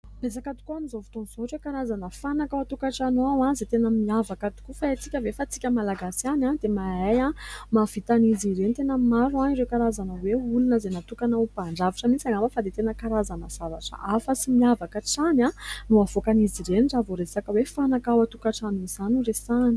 Betsaka tokoa amin' izao fotoana izao ireo karazana fanaka ao an- tokantrano ao, izay tena miavaka tokoa. Fa haintsika ve fa tsika Malagasy ihany dia mahay, mahavita an' izy ireny ? Tena maro ireo karazana hoe olona izay natokana ho mpandrafitra mihitsy angamba, fa dia tena karazana zavatra hafa sy miavaka hatrany no avoakan' izy ireny raha vao resaka hoe fanaka ao an- tokantrano izany no resahana.